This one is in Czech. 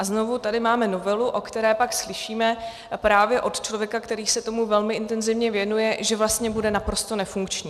A znovu tady máme novelu, o které pak slyšíme právě od člověka, který se tomu velmi intenzivně věnuje, že vlastně bude naprosto nefunkční.